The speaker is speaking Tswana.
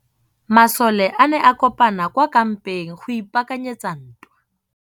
Masole a ne a kopane kwa kampeng go ipaakanyetsa ntwa.